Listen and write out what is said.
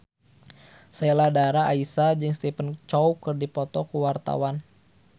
Sheila Dara Aisha jeung Stephen Chow keur dipoto ku wartawan